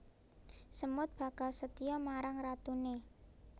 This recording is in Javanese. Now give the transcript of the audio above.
Semut bakal setya marang ratuné